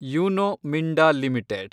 Uno Minda limited